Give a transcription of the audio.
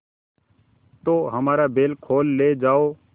तो हमारा बैल खोल ले जाओ